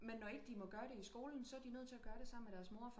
Men når ikke de må gøre det i skolen så er de nødt til at gøre det sammen med deres mor